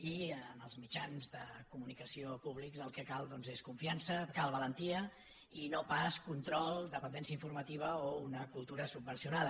i en els mitjans de comunicació públics el que cal doncs és confiança cal valentia i no pas control dependència informativa o una cultura subvencionada